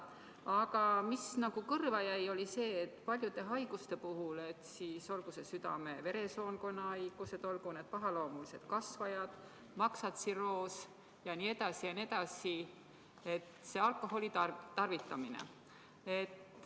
Aga mis kõrva jäi paljude haiguste puhul, olgu need südame-veresoonkonnahaigused, olgu need pahaloomulised kasvajad, maksatsirroos jne, oli alkoholitarvitamine.